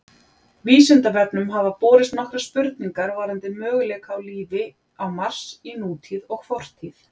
Vísindavefnum hafa borist nokkrar spurningar varðandi möguleika á lífi á Mars í nútíð og fortíð.